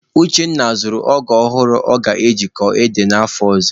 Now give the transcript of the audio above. Uchenna zụrụ ọgụ ọhụrụ ọ ga-eji kọọ ede n'afọ ọzọ.